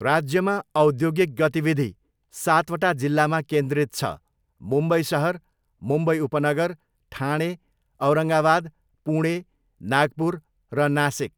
राज्यमा औद्योगिक गतिविधि सातवटा जिल्लामा केन्द्रित छ, मुम्बई सहर, मुम्बई उपनगर, ठाणे, औरङ्गावाद, पुणे, नागपुर र नासिक।